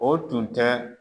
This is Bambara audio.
O tun tɛ